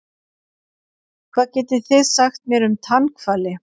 Hvað getið þið sagt mér um tannhvali?